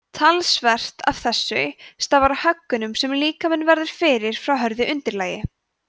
talsvert af þessu stafar af höggunum sem líkaminn verður fyrir frá hörðu undirlagi